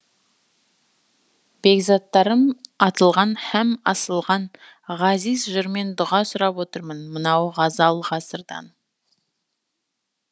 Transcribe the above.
бекзаттарым атылған һәм асылған ғазиз жырмен дұға сұрап отырмын мынау ғазал ғасырдан